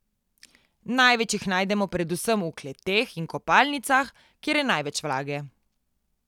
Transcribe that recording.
Največ jih najdemo predvsem v kleteh in kopalnicah, kjer je največ vlage.